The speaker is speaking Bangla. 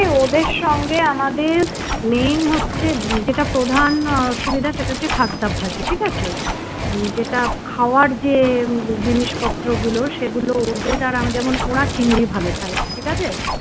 ওদের সঙ্গে আমাদের main হচ্ছে যেটা প্রধান অসুবিধা সেটা হচ্ছে খাদ্যাভ্যাস ঠিক আছে? যেটা খাওয়ার যে জিনিসপত্রগুলো সেগুলো ওদের আর আমাদের যেমন ওরা চিংড়ি ভালো খায় ঠিক আছে